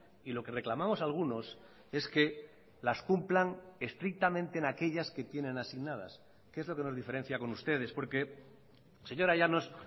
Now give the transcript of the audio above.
y lo que reclamamos algunos es que las cumplan estrictamente en aquellas que tienen asignadas que es lo que nos diferencia con ustedes porque señora llanos